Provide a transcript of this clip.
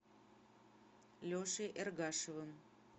лешей эргашевым